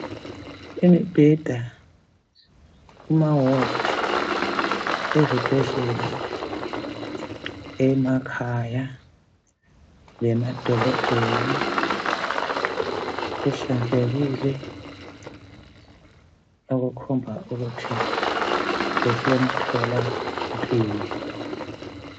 Imibheda kumawodi ezibhedlela emakhaya lemadolobheni kuhlanzekekile okukhomba ukuthi kusemthola mpilo.